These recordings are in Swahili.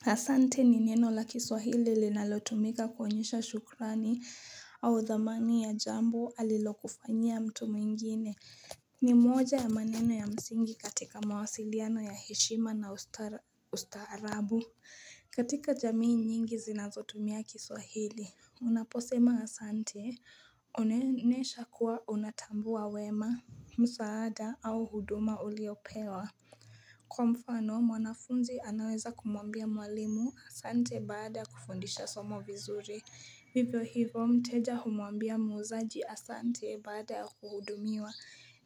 Asante ni neno la kiswahili li nalotumika kuonyesha shukrani au dhamani ya jambo alilokufanya mtu mwingine. Ni moja ya maneno ya msingi katika mawasiliano ya heshima na ustaarabu. Katika jamii nyingi zinazotumia kiswahili. Unaposema Asante unenesha kuwa unatambua wema, msaada au huduma uliopewa. Kwa mfano mwanafunzi anaweza kumwambia mwalimu Asante bada kufundisha somo vizuri. Vivo hivo mteja humwambia muzaji Asante bada kuhudumiwa.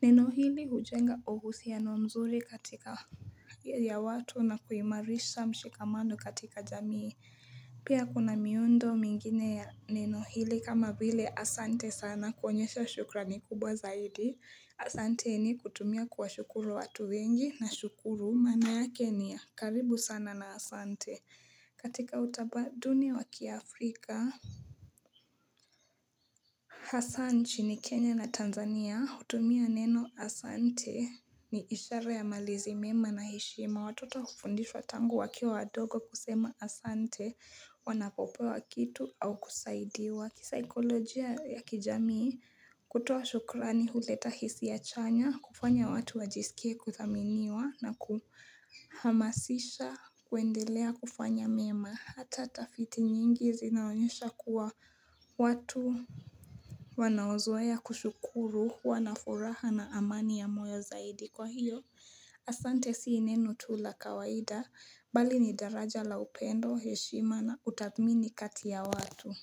Neno hili hujenga ohusia no mzuri katika ya watu na kuimarisha mshikamando katika jamii. Pia kuna miundo mingine ya neno hili kama vile Asante sana kuhonyesha shukra ni kubwa zaidi. Asante ni kutumia kwa shukuru watu wengi na shukuru mana ya Kenya. Karibu sana na Asante. Katika utamaduni wa kia Afrika, Hassan chini Kenya na Tanzania utumia neno Asante ni ishara ya malizi mema na hishima. Watoto kufundishwa tangu wakia wadogo kusema Asante wanapopewa kitu au kusaidiwa. Kwa kisikolojia ya kijamii, kutuwa shukrani huleta hisi ya chanya, kufanya watu wajisikia kuthaminiwa na kuhamasisha, kuendelea kufanya mema. Hata tafiti nyingi zinaonyesha kuwa watu wanaozoa ya kushukuru, wanaforaha na amani ya moyo zaidi. Kwa hiyo, asante si neno tu la kawaida, bali ni daraja la upendo, heshima na utamini katia watu.